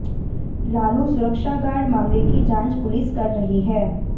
लालू सुरक्षागार्ड मामले की जांच पुलिस कर रही है